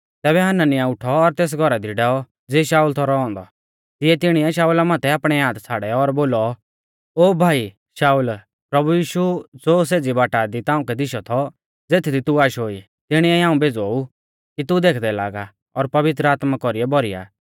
तैबै हनन्याह उठौ ओर तेस घौरा दी डैऔ ज़िऐ शाउल थौ रौ औन्दौ तिऐ तिणीऐ शाऊला माथै आपणै हाथ छ़ाड़ै और बोलौ ओ भाई शाऊल प्रभु यीशु ज़ो सेज़ी बाटा दी ताउंकै दिशौ थौ ज़ेथदी तू आशो ई तिणीऐ ई हाऊं भेज़ौ ऊ कि तू देखदै लागा और पवित्र आत्मा कौरीऐ भौरी आ